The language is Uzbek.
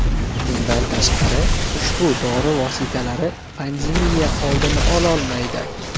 Bundan tashqari, ushbu dori vositalari pandemiya oldini ololmaydi.